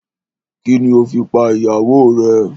Kini o fi pa ìyàwó rè?